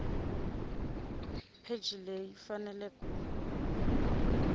pheji leyi ku fanele ku